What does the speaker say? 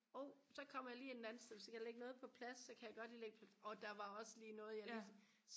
og så kommer jeg lige ind et andet sted og skal jeg lægge noget på plads så kan jeg godt lige lægge det og der var også noget jeg lige